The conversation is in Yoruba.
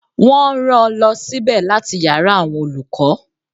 Wọ́n rán-an lọ sí ibẹ̀ láti yàrá àwọn olùkọ́.